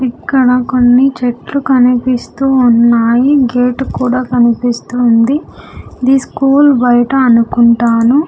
ఇక్కడ కొన్ని చెట్లు కనిపిస్తూ ఉన్నాయి గేట్ కూడా కనిపిస్తుంది ఇది స్కూల్ బయట అనుకుంటాను.